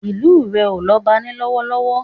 Ìlu rẹ̀ ò lọ́ba ní lọ́wọ́lọ́wọ́